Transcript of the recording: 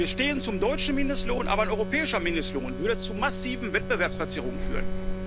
Wir stehen zum deutschen Mindestlohn, aber ein europäischer Mindestlohn würde zu massiven Wettbewerbsverzerrungen führen.